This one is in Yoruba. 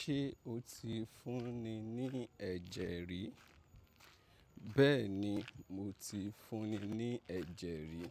Ṣé o ti fúnni ní ẹ̀jẹ̀ rí? Bẹ́ẹ̀ni, mo ti fúnni ní ẹ̀jẹ̀ rí.